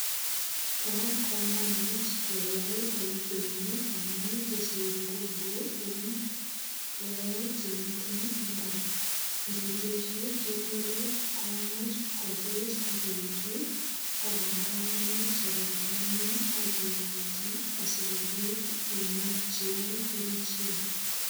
Bo kamanut keyai boisioni amu tesei nguvu eng logoek che mita imbar. Ngitesyi keturek komuch kopit ak koetu ak kogararanit sogot nenyin ak ialde sigopit inyorchigei keljin.